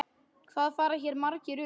Hvað fara hér margir um?